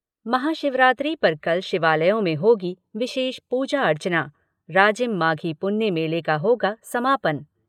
महाशिवरात्रि पर कल शिवालयों में होगी विशेष पूजा अर्चना राजिम माघी पुन्नी मेले का होगा समापन।